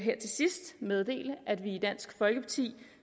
meddele at vi i dansk folkeparti